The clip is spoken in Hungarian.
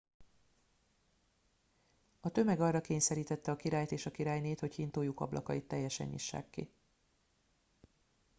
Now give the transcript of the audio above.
a tömeg arra kényszerítette a királyt és a királynét hogy hintójuk ablakait teljesen nyissák ki